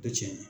Tɛ tiɲɛ ye